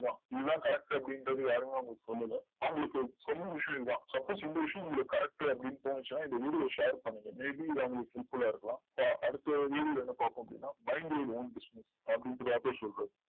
இதன் correct அப்டின்றது யாருமே அவங்களுக்கு சொல்லல and இப்போ சொன்ன விஷயம் தான் suppose இந்தவிஷயம் correct அப்டின்னு உங்களுக்கு தோணுச்சுன்னா இந் video share பண்ணிகொங்க may be அவங்களுக்க useful இருக்கலாம் இப்போ அடுத் video வந்து பாத்தோம் அப்டின்ன minding your own business அப்டின்னு சொல்றது